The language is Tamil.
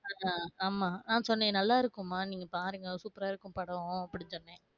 அக் அஹ் ஆமா அஹ் சொன்னே நல்லா இருக்கும் மா நீங்க பாருங்க சூப்பரா இருக்கும் படம் அப்பிடி சொன்னே